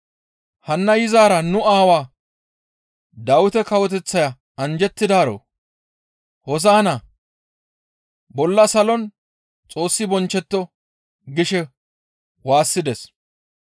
Hanna yizaara nu aawaa Dawite kawoteththaya anjjettidaaro; hoosa7inna! Bolla salon Xoossi bonchchetto» gishe waassides.